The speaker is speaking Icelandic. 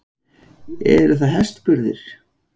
Eru það hestburðir?